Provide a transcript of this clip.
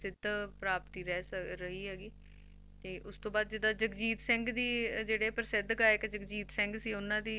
ਪ੍ਰਸਿੱਧ ਪ੍ਰਾਪਤੀ ਰਹਿ ਰਹੀ ਹੈਗੀ ਤੇ ਉਸ ਤੋਂ ਬਾਅਦ ਜਿੱਦਾਂ ਜਗਜੀਤ ਸਿੰਘ ਦੀ ਅਹ ਜਿਹੜੇ ਆ ਪ੍ਰਸਿੱਧ ਗਾਇਕ ਜਗਜੀਤ ਸਿੰਘ ਸੀ ਉਹਨਾਂ ਦੀ